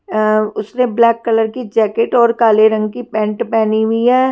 अ उसने black colour की jacket और काले रंग की पेंट पहनी हुई है।